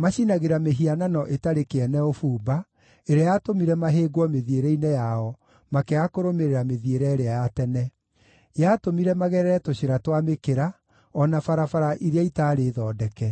macinagĩra mĩhianano ĩtarĩ kĩene ũbumba, ĩrĩa yatũmire mahĩngwo mĩthiĩre-inĩ yao, makĩaga kũrũmĩrĩra mĩthiĩre ĩrĩa ya tene. Yatũmire magerere tũcĩra twa mĩkĩra, o na barabara iria itarĩ thondeke.